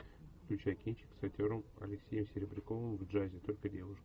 включай кинчик с актером алексеем серебряковым в джазе только девушки